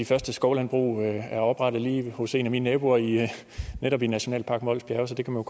første skovlandbrug der er oprettet lige hos en af mine naboer i netop nationalpark mols bjerge så det kan man